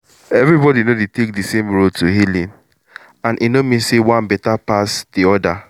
everybody no dey take the same road to healing — and e no mean say one better better pass the other.